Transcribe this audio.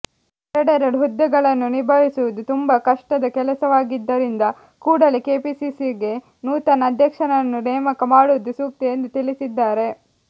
ಎರಡೆರಡು ಹುದ್ದೆಗಳನ್ನು ನಿಭಾಯಿಸುವುದು ತುಂಬಾ ಕಷ್ಟದ ಕೆಲಸವಾಗಿದ್ದರಿಂದ ಕೂಡಲೇ ಕೆಪಿಪಿಸಿಗೆ ನೂತನ ಅಧ್ಯಕ್ಷರನ್ನು ನೇಮಕ ಮಾಡುವುದು ಸೂಕ್ತ ಎಂದು ತಿಳಿಸಿದ್ದಾರೆ